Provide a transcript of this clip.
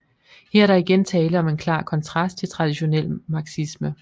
Her er der igen tale om en klar konstrast til traditionel marxisme